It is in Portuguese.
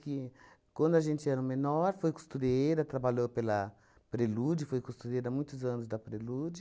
Que quando a gente era menor, foi costureira, trabalhou pela Prelude, foi costureira há muitos anos da Prelude.